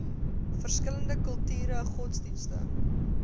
verskillende kulture godsdienste